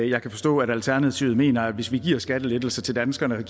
jeg kan forstå at alternativet mener at hvis vi giver skattelettelser til danskerne